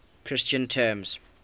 christian terms